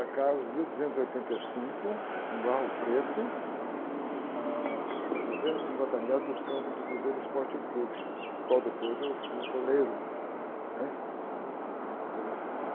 mil duzentos oitenta e cinco, no, a duzentos e cinquenta metros do campo do Cruzeiro Esporte Clube, do qual depois eu fui goleiro, né? Quando eu tinha, na minha adolescência.